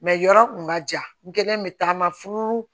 yɔrɔ kun ka jan n gɛgɛn bɛ tagama fuuru